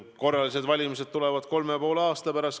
Korralised valimised tulevad kolme ja poole aasta pärast.